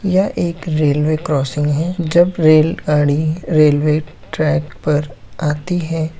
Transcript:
यह एक railway crossing है जब रेलगाड़ी रेलवे ट्रक पर आती है।